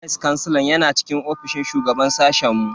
Vice kansilan yana cikin ofishin shugaban sashen mu.